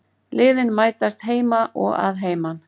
Liðin mætast heima og að heiman